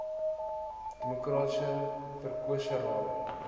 demokraties verkose rade